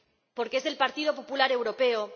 Porque es del Partido Popular Europeo.